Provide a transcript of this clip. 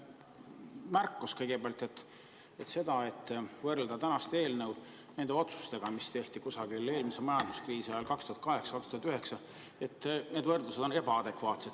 Selline märkus kõigepealt, et võrrelda tänast eelnõu nende otsustega, mis tehti eelmise majanduskriisi ajal 2008–2009, need võrdlused on ebaadekvaatsed.